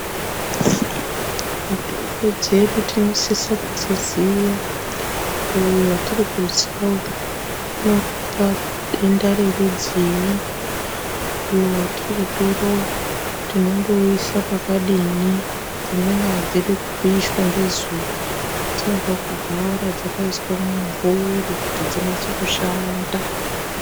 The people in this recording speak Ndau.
Mitombo dzedu tinosisa kudziziya kuti uyu watiri kutsa uyu unorapa denda rerudziyi, uyu watiri kutora uyu tinondomuisa pakadini dzimweni adzidi kupishwa ngezuwa dzinoda kugara dzakaiswa mumumvuri kuti dzinase kushanda